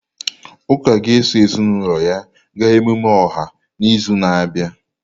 Uka ga-eso ezinụlọ ya gaa emume ọha n'izu na-abịa.